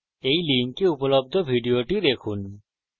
এই লিঙ্কে উপলব্ধ video দেখুন